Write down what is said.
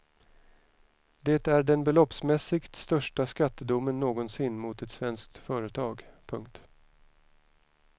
Det är den beloppsmässigt största skattedomen någonsin mot ett svenskt företag. punkt